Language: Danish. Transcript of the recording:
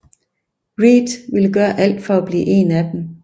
Reed vil gøre alt for at blive en af dem